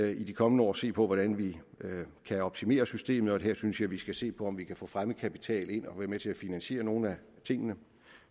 i de kommende år se på hvordan vi kan optimere systemet og her synes jeg vi skal se på om vi kan få fremmed kapital ind og være med til at finansiere nogle af tingene